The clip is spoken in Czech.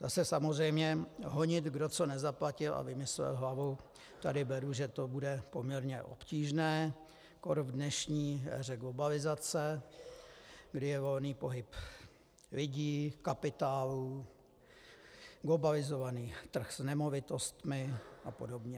Zase samozřejmě honit, kdo co nezaplatil a vymyslel hlavou, tady beru, že to bude poměrně obtížné, kór v dnešní éře globalizace, kdy je volný pohyb lidí, kapitálu, globalizovaný trh s nemovitostmi a podobně.